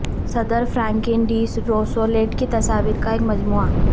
صدر Franklin D Roosevelt کی تصاویر کا ایک مجموعہ